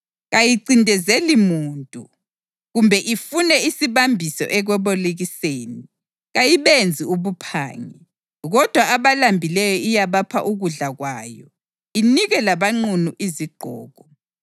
Kayincindezeli muntu kumbe ifune isibambiso ekwebolekiseni. Kayibenzi ubuphangi kodwa abalambileyo iyabapha ukudla kwayo inike labanqunu izigqoko.